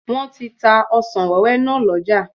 Wọ́n ti ta ọsàn wẹ́wẹ́ náà lọ́jà